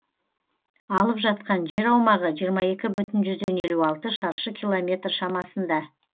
алып жатқан жер аумағы жиырма екі бүтін жүзден елу алты шаршы километр шамасында